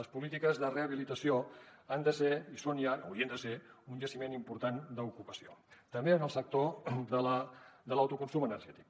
les polítiques de rehabilitació han de ser i són ja haurien de ser un jaciment important d’ocupació també en el sector de l’autoconsum energètic